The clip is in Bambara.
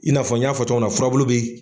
I n'a fɔ n y'a fɔ cogoya min na furabulu bi.